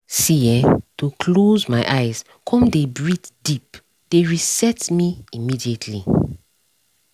see[um]to close my eyes come dey breathe deep dey reset me immediately